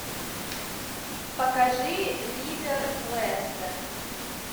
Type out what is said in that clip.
покажи ливер лестер